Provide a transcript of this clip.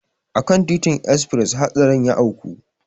A kan titin esfres hatsarin ya auku.